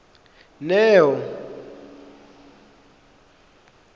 neo